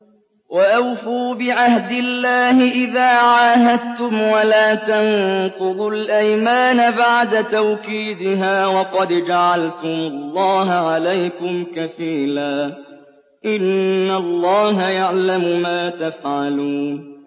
وَأَوْفُوا بِعَهْدِ اللَّهِ إِذَا عَاهَدتُّمْ وَلَا تَنقُضُوا الْأَيْمَانَ بَعْدَ تَوْكِيدِهَا وَقَدْ جَعَلْتُمُ اللَّهَ عَلَيْكُمْ كَفِيلًا ۚ إِنَّ اللَّهَ يَعْلَمُ مَا تَفْعَلُونَ